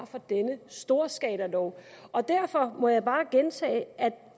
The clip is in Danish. for denne storskalalov derfor må jeg bare gentage at